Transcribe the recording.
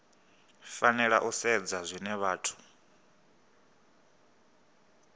fanela u sedzwa zwine vhathu